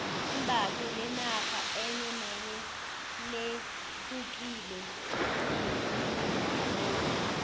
imbatho lenarha enye nenye lehukile kunelenye